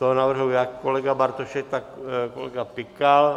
To navrhl jak kolega Bartošek, tak kolega Pikal.